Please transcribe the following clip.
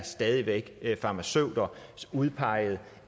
stadig væk er farmaceuter udpeget